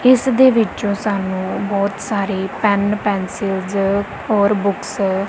ਇੱਸਦੇ ਵਿਚੋਂ ਸਾਨੂੰ ਬੋਹਤ ਸਾਰੇ ਪੇਨ ਪੈਂਸਿਲਸ ਔਰ ਬੁੱਕਸ --